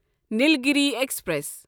Nilgiri express